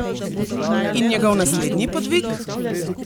In njegov naslednji podvig?